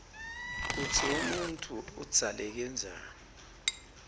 kutsi umuntfu udzaleke njani